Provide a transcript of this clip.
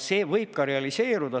See võib ka realiseeruda.